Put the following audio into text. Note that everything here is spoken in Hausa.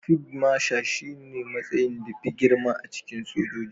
Fid masha shi ne matsayin da fi girma a cikin sojoji